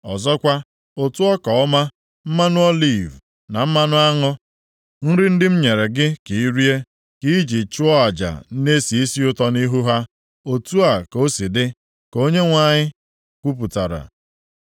Ọzọkwa, ụtụ ọka ọma, mmanụ oliv na mmanụ aṅụ, nri ndị m nyere gị ka i rie, ka i ji chụọ aja na-esi isi ụtọ nʼihu ha. Otu a ka o si dị, ka Onyenwe anyị Onyenwe anyị kwupụtara.